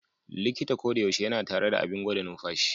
Likita koyaushe yana tare da abin gwada numfashi.